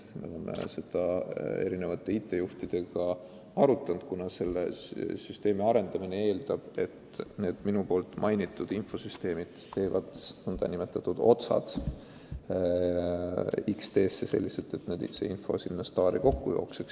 Me oleme seda erinevate IT-juhtidega arutanud, kuna selle süsteemi arendamine eeldab, et need minu mainitud infosüsteemid viivad otsapidi X-teesse selliselt, et info jookseb STAR-i kokku.